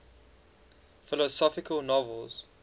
philosophical novels